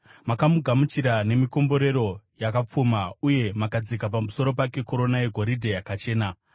Makamugamuchira nemikomborero yakapfuma, uye makadzika pamusoro pake korona yegoridhe yakachena.